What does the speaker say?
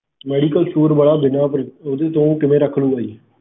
medicalstore ਵਾਲਾ ਬਿਨਾ ਓਹਦੇ ਤੋਂ ਕਿਵੇਂ ਰੱਖ ਲੂਗਾ ਜੀ